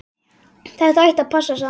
Þetta ætti að passa, sagði hann.